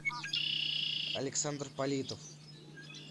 александр политов